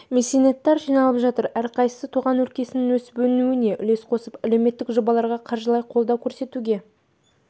меценаттар жиналып жатыр әрқайсысы туған өлкенің өсіп өркендеуіне үлес қосып әлеуметтік жобаларға қаржылай қолдау көрсетуге